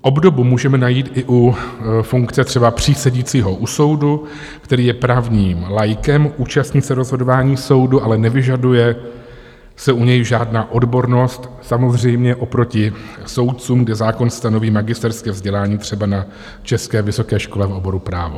Obdobu můžeme najít i u funkce třeba přísedícího u soudu, který je právním laikem, účastní se rozhodování soudu, ale nevyžaduje se u něj žádná odbornost, samozřejmě oproti soudcům, kde zákon stanoví magisterské vzdělání třeba na české vysoké škole v oboru právo.